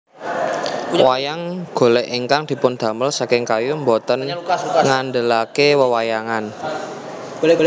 Wayang golèk ingkang dipundamel saking kayu boten ngandhelaké wewayangan